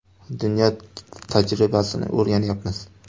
Dunyo tajribasini o‘rganyapmiz.